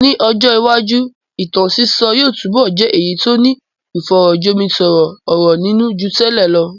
Ní ọjọ́ iwájú, ìtàn sísọ yóò túbọ̀ jẹ́ èyí tó ní ìfọ̀rọ̀ jomitoro ọ̀rọ̀ nínú ju tẹ́lẹ̀ lọ.